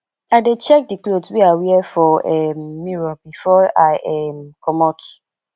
i dey check di cloth wey i wear for um mirror before i um comot